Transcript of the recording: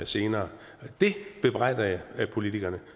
senere og det bebrejder jeg politikerne